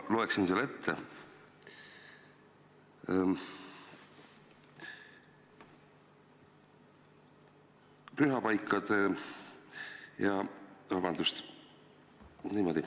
Loeksin selle ette.